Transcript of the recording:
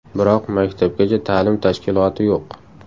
Biroq maktabgacha ta’lim tashkiloti yo‘q.